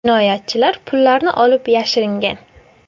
Jinoyatchilar pullarni olib yashiringan.